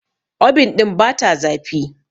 obin ɗin bata zafi